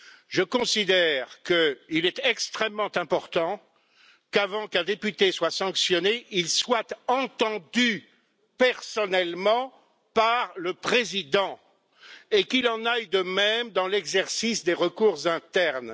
Je considère qu'il est extrêmement important qu'avant qu'un député ne soit sanctionné, il soit entendu personnellement par le Président et qu'il en aille de même dans l'exercice des recours internes.